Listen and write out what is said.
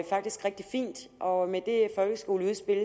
faktisk rigtig fint og med det folkeskoleudspil